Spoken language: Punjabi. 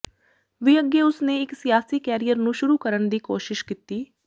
ਵੀ ਅੱਗੇ ਉਸ ਨੇ ਇੱਕ ਸਿਆਸੀ ਕੈਰੀਅਰ ਨੂੰ ਸ਼ੁਰੂ ਕਰਨ ਦੀ ਕੋਸ਼ਿਸ਼ ਕੀਤੀ